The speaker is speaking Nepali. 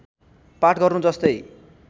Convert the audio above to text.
पाठ गर्नु जस्तै